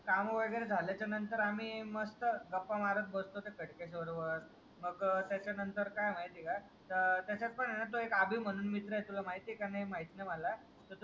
कामं वगेरे झाल्याच्या नंतर आम्ही मस्ता गप्पा मारत बसतो त्या खडकेश्वर वर मग त्याच्या नंतर काय आहे माहितीये का त्याचात पण आहे न एक अभि म्हणून मित्र आहे तुला माहितीये का नाही माहीत नाही माला तो जो शाळेतला